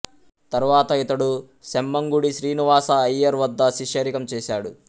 తరువాత ఇతడు సెమ్మంగుడి శ్రీనివాస అయ్యర్ వద్ద శిష్యరికం చేశాడు